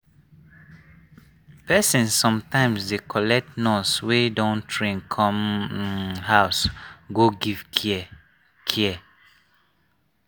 people sometimes dey collect nurse wey don train come um house go give care. care.